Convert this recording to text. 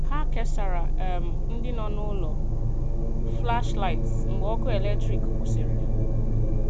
Hà kesàrà̀ um ndị nọ n’ụlọ̀ flashlight mgbe ọkụ̀ eletrik kwụsịrị̀.